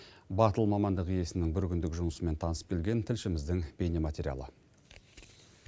батыл мамандық иесінің бір күндік жұмысымен танысып келген тілшіміздің бейнематериалы